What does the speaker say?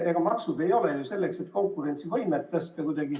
Ega maksud ei ole ju selleks, et konkurentsivõimet parandada.